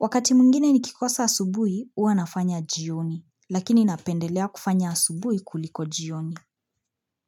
Wakati mwingine nikikosa asubuhi huwa nafanya jioni lakini napendelea kufanya asubuhi kuliko jioni.